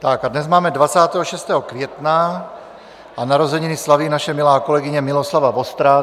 Tak a dnes máme 26. května a narozeniny slaví naše milá kolegyně Miloslava Vostrá.